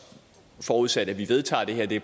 forudsat at vi vedtager det her det